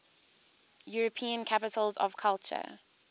european capitals of culture